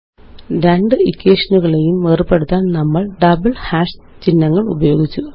രണ്ട് ഇക്വേഷനുകളെയും വേര്പെടുത്താന് നമ്മള് ഡബിള് ഹാഷ് ചിഹ്നങ്ങള് ഉപയോഗിച്ചു